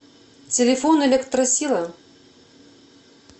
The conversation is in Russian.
телефон электросила